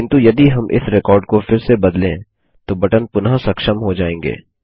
किन्तु यदि हम इस रिकॉर्ड को फिर से बदलें तो बटन पुनः सक्षम हो जाएँगे